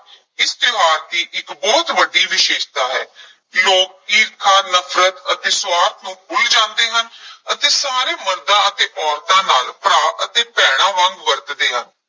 ਇਸ ਤਿਉਹਾਰ ਦੀ ਇੱਕ ਬਹੁਤ ਵੱਡੀ ਵਿਸ਼ੇਸ਼ਤਾ ਹੈ ਲੋਕ ਈਰਖਾ, ਨਫ਼ਰਤ ਅਤੇ ਸੁਆਰਥ ਨੂੰ ਭੁੱਲ ਜਾਂਦੇ ਹਨ ਅਤੇ ਸਾਰੇ ਮਰਦਾਂ ਅਤੇ ਔਰਤਾਂ ਨਾਲ ਭਰਾ ਅਤੇ ਭੈਣਾਂ ਵਾਂਗ ਵਰਤਦੇ ਹਨ।